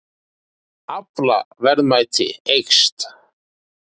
Aflaverðmæti eykst